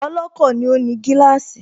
Ọlọ́kọ̀ ni ó ní gíláàsì